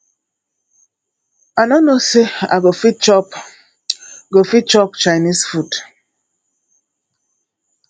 i no know say i go fit chop go fit chop chinese food